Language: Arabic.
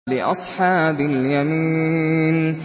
لِّأَصْحَابِ الْيَمِينِ